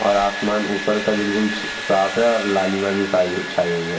और आसमान ऊपर का बिल्कुल छ साफ़ है और लालिमा भी साई हुई छाई हुई है |